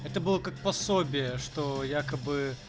это было как пособие что якобы